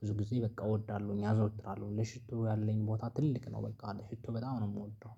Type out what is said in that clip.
ብዙ ጊዜ በቃ እወዳለሁኝ አዘወትራለሁኝ ለሽቶ ያለኝ ቦታ ትልቅ ነው። በቃ ሽቶ በጣም ነው የምወደው